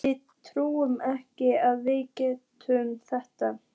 Við trúðum ekki að við gætum þetta.